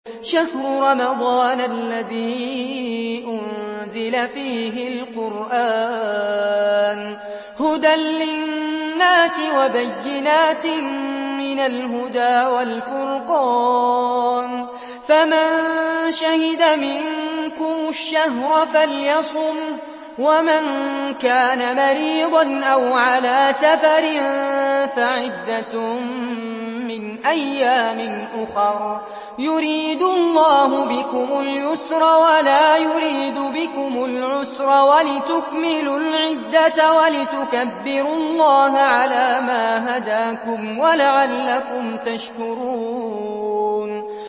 شَهْرُ رَمَضَانَ الَّذِي أُنزِلَ فِيهِ الْقُرْآنُ هُدًى لِّلنَّاسِ وَبَيِّنَاتٍ مِّنَ الْهُدَىٰ وَالْفُرْقَانِ ۚ فَمَن شَهِدَ مِنكُمُ الشَّهْرَ فَلْيَصُمْهُ ۖ وَمَن كَانَ مَرِيضًا أَوْ عَلَىٰ سَفَرٍ فَعِدَّةٌ مِّنْ أَيَّامٍ أُخَرَ ۗ يُرِيدُ اللَّهُ بِكُمُ الْيُسْرَ وَلَا يُرِيدُ بِكُمُ الْعُسْرَ وَلِتُكْمِلُوا الْعِدَّةَ وَلِتُكَبِّرُوا اللَّهَ عَلَىٰ مَا هَدَاكُمْ وَلَعَلَّكُمْ تَشْكُرُونَ